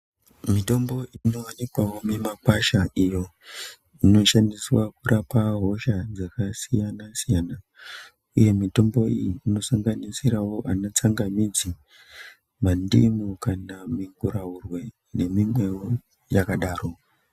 Mitombo inovanikwavo mimakwasha iyo inoshandiswa kurapa hosha dzakasiyana-siyana, uye mitombo iyi inosanganisiravo ana tsangamidzi, mandimu kana minguraurwe nemimwevo yakadaro.